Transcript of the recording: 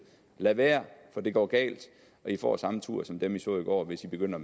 lad være for det går galt og i får samme tur som dem i så i går hvis i begynder